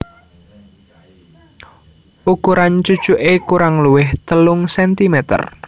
Ukuran cucuké kurang luwih telung centimeter